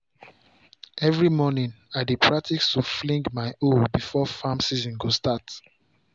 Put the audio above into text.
every morning i dey practice to fling my hoe before farm season go start.